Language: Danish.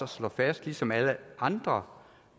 slå fast ligesom alle andre